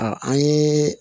an ye